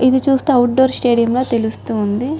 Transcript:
ఇది చుస్తే outdoor stadium ల తెలుస్తుంది.